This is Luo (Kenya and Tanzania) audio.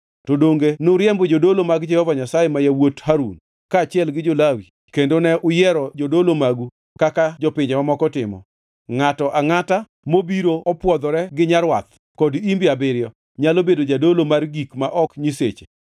To donge nuriembo jodolo mag Jehova Nyasaye ma yawuot Harun kaachiel gi jo-Lawi kendo ne uyiero jodolo magu kaka jopinje mamoko timo? Ngʼato angʼata mobiro opwodhore gi nyarwath kod imbe abiriyo nyalo bedo jadolo mar gik ma ok nyiseche.